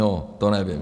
No, to nevím.